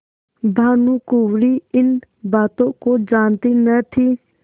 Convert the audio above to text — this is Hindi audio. भानुकुँवरि इन बातों को जानती न थी